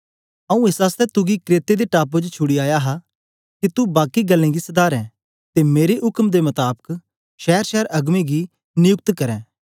आऊँ एस आसतै तुगी क्रेते दे टापू च छुड़ी आया हा के तू बाकी गल्लें गी सधारें ते मेरे उक्म दे मताबक शैरशैर अगबें गी निजुक्त करें